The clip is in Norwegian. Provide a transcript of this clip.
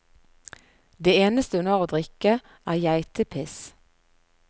Det eneste hun har å drikke, er geitepiss.